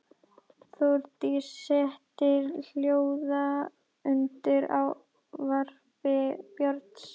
Þórdísi setti hljóða undir ávarpi Björns.